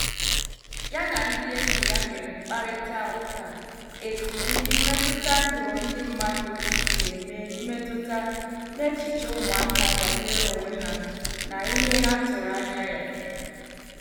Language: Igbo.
Ya na ndị enyi ya mere mkparita ụka etu ndị mmetụta ndụ ndị mmadu si eme mmetụta n' echiche ụmụaka banyere onwe ha na ihe ha tụrụ anya ya.